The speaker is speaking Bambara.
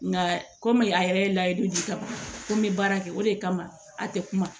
Nka kɔmi a yɛrɛ ye layidu di ka ban ko n bɛ baara kɛ o de kama a tɛ kuma